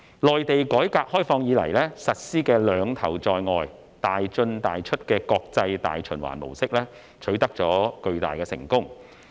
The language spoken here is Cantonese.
內地改革開放以來，實施的"兩頭在外、大進大出"的國際大循環模式，取得了巨大成功。